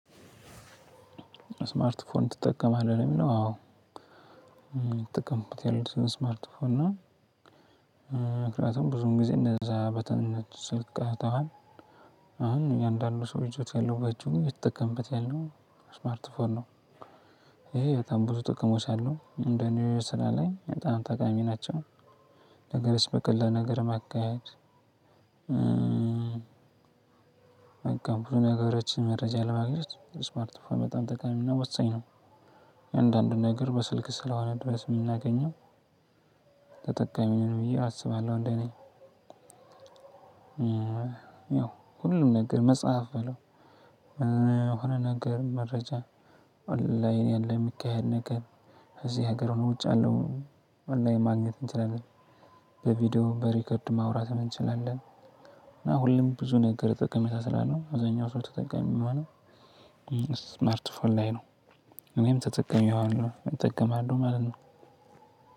ስማርት ፎን ትጠቀማለህ ነው የሚለው አዎ ትጠቀምበት ያለው ስማርት ፎን ነው። ምክንያቱም ብዙም ጊዜ እነዛ በተኞች ስልክ ቀርተዋል። አሁን እያንዳንዱ ሰው ይዘው ያለም አየተጠቀምበት ያለው ስማርት ፎን ነው። ይሄ በጣም ብዙ ጠቅሞች አሉ እንደኔ ስራ ላይ በጣም ጠቃሚ ናቸው። ነገርስ በቀላል ነገር ማካሄድ። በቃ ብዙ ነገሮችን መረጃ ለማግኘት ይስማል ፎን በጣም ጠቃሚና ወሳኝ ነው። አንዳንድ ነገር በስልክ ስለሆነ ድረስ የምናገኘው ተጠቃሚ ነኝ ብዬ አስባለሁ። እንደኔ ያው ሁሉም ነገር መጽሐፍ በለው ምን ሆነ ነገር መረጃ ኦላይን ያለ የሚካሄድ ነገር። እዚህ ሀገር ሆኖ ውጭ ያለሁ ማግኘት እንችላለን። በቪዲዮ በሪከርድ ማውራት እንችላለን። እና ሁሉም ብዙ ነገር ጥቅመጣ ስላለው አዛኛው ሰው ተጠቃሚ የሚሆነው። ስማርት ፎን ላይ ነው። እኔም ተጠቅሜዋለሁ እጠቀማለሁ ማለት ነው።